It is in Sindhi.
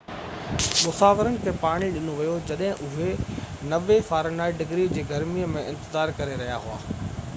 مسافرن کي پاڻي ڏنو ويو جڏهن اهي 90f-ڊگري جي گرمي ۾ انتظار ڪري رهيا هئا